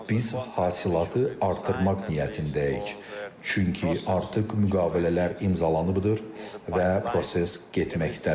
Biz hasilatı artırmaq niyyətindəyik, çünki artıq müqavilələr imzalanıbdır və proses getməkdədir.